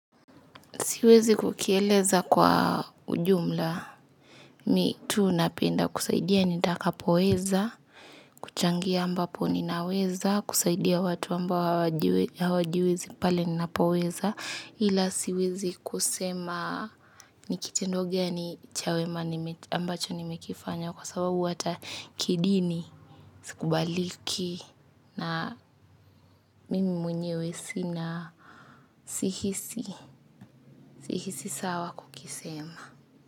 Siwezi kukieleza kwa ujumla. Mimi tu napenda kusaidia nitakapoeza, kuchangia ambapo ninaweza, kusaidia watu ambao hawajiwezi pale ninapoeza. Ila siwezi kusema nikitendo gani cha wema ambacho nimekifanya kwa sababu hata kidini. Sikubaliki na mimi mwenyewe sina sihisi, sihisi sawa kukisema.